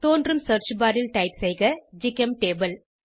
தோன்றும் search bar ல் type செய்க ஜிசெம்டபிள்